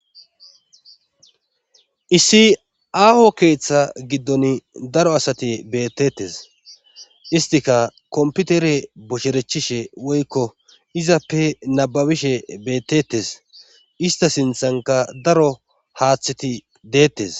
issi aaho keeththa giddon daro asati bettetes istika komputere bocherechishe woykko izappe nababishe beettettes ista sinthanka daro haaththeti deettes